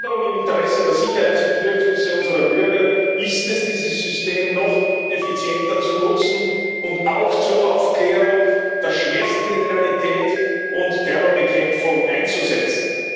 Meine Forderung im Interesse der Sicherheitsbedürfnisse unserer Bürger ist, dieses System noch effizienter zu nutzen und auch zur Aufklärung der Schwerstkriminalität und zur Terrorbekämpfung einzusetzen.